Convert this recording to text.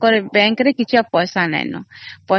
ତାଙ୍କର bank ରେ କିଛି ପଇସା ନାହିଁ ଆଉ।